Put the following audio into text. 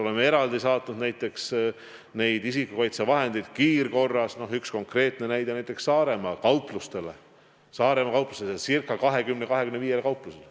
Oleme eraldi saatnud näiteks isikukaitsevahendeid kiirkorras, üks konkreetne näide on Saaremaa kauplused, circa 20–25 kauplust.